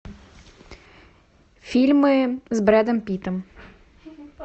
фильмы с брэдом питтом